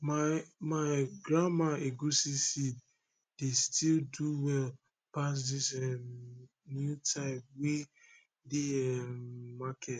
my my grandma egusi seed dey still do well pass dis um new type wey dey um market